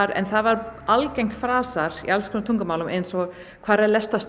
en það var algengt frasar í alls konar tungumálum eins og hvar er